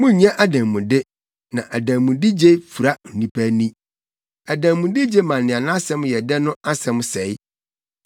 “Munnye adanmude na adanmudegye fura onipa ani. Adanmudegye ma nea nʼasɛm yɛ dɛ no asɛm sɛe.